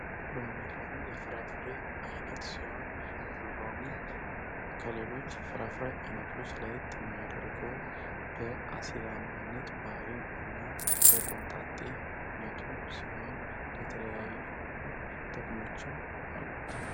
ሎሚ፦ ሎሚ የፍራፍሬ አይነት ሲሆን ሎሚ ከሌሎች የፍራፍሬ አይነቶች ለየት የሚያደርገው በአሲዳማነት ባህሪውና ኮምጣጤ በመሆኑና የተለያዩ ጥቅሞች አሉት።